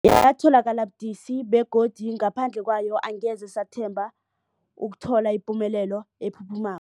Yatholakala budisi, begodu ngaphandle kwayo angeze sathemba ukuthola ipumelelo ephuphuma